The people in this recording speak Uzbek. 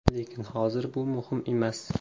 Lekin hozir bu muhim emas.